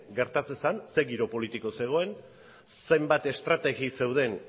gertatu zen zein giro politiko zegoen zenbat estrategi zeuden